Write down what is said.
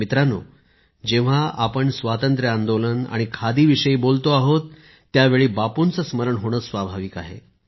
मित्रांनो जेव्हा आपण स्वातंत्र्य आंदोलन आणि खादीविषयी बोलतो आहोत त्यावेळी बापूंचे स्मरण होणे स्वाभाविक आहे